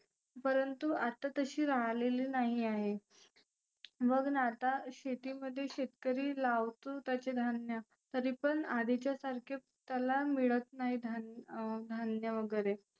परंतु आता तशी राहलेली नाही आहे. बघना आता शेतीमध्ये शेतकरी लावतो त्याचे धान्य तरी पण आधीच्या सारखे त्याला मिळत नाही धान अं धान्य वगैरे.